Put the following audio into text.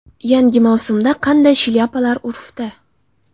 Yangi mavsumda qanday shlyapalar urfda?.